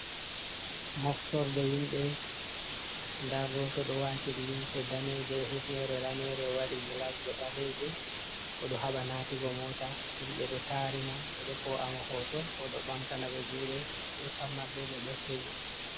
Moftorde himbe da goto do wati limse daneje e hifnere danere ,o waɗi glas je baleje odo haɓa natugo mota himɓe do tari mo be do ko amo hoto hodo bamtana be juɗe be pat mabbe be do seyi.